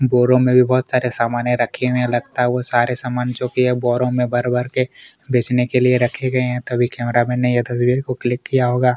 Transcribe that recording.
बोरो में भी बहोत सारे समाने रखे हुए हैं लगता है वो सारे समान जोकि ये बोरो मैं भर-भर के बेचने के लिए रखे गए हैं तभी कैमरा मैन यह तस्वीर को क्लिक किया होगा।